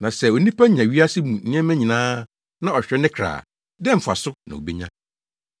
Na sɛ onipa nya wiase yi mu nneɛma nyinaa na ɔhwere ne kra a, dɛn mfaso na obenya?